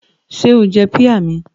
Ṣé o jẹ píà mi?